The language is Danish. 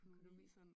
Økonomi